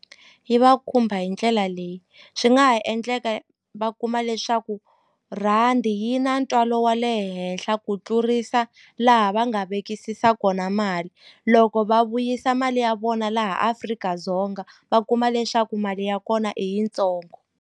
Yi va khumba hi ndlela leyi swi nga ha endleka va kuma leswaku rhandi yi na ntswalo wa le henhla ku tlurisa laha va nga vekisisa kona mali loko va vuyisa mali ya vona laha Afrika-Dzonga va kuma leswaku mali ya kona i yitsongo.